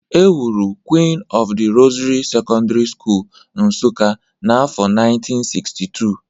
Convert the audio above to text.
E wuru Queen of the Rosary Secondary School, Nsuka n’afọ 1962.